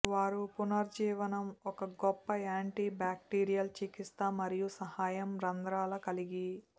వారు పునరుజ్జీవనం ఒక గొప్ప యాంటీ బాక్టీరియల్ చికిత్స మరియు సహాయం రంధ్రాల కలిగి